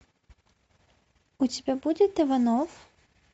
у тебя будет иванов